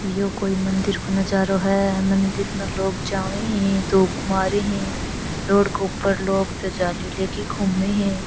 यो कोई मंदिर को नजारो है मंदिर में लोग जाबे है धोख मारे है रोड के ऊपर लोग ध्वजा ले के घूमे है।